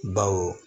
Bawo